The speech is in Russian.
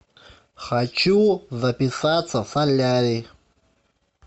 хочу записаться в солярий